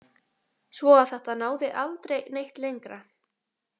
Svo að þetta náði aldrei neitt lengra.